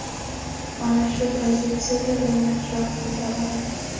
Mana shu pozitsiyada men yaxshiroq o‘ynay olaman.